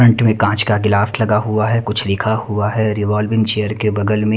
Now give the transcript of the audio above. front मे कांच का गिलास लगा हुआ है कुछ लिखा हुआ है रिवॉल्विंग चेयर के बगल मे--